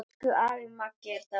Elsku afi Maggi er dáinn.